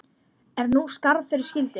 Er nú skarð fyrir skildi.